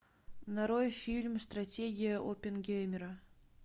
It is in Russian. нарой фильм стратегия оппенгеймера